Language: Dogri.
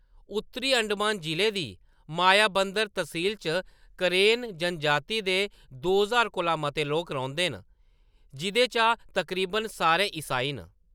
उत्तरी अंडमान जिले दी मायाबंदर तसील च करेन जनजाति दे दो ज्हार कोला मते लोक रौंह्‌‌‌दे न, जिंʼदे चा तकरीबन सारे ईसाई न।